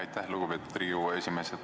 Aitäh, lugupeetud Riigikogu esimees!